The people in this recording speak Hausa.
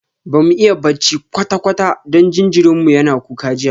Bamu iya bacci kwata-kwata don jinjirin mu yana kuka jiya